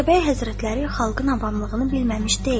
Atabəy Həzrətləri xalqın avamlığını bilməmiş deyil.